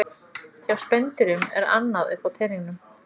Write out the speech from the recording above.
Hjá spendýrum er annað upp á teningnum.